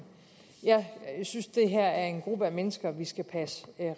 jeg synes det her er en gruppe af mennesker vi skal passe